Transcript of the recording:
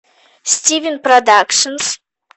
стивен продакшнс